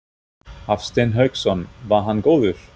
Hafsteinn Hauksson: Var hann góður?